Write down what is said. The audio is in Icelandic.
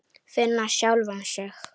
Finna sjálfa sig.